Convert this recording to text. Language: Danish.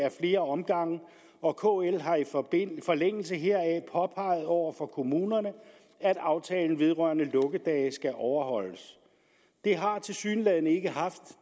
i flere omgange og kl har i forlængelse heraf påpeget over for kommunerne at aftalen vedrørende lukkedage skal overholdes det har tilsyneladende ikke haft